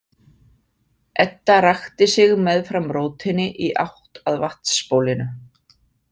Edda rakti sig meðfram rótinni í átt að vatnsbólinu.